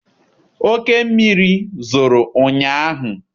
Oke mmiri zoro ụnyaahụ.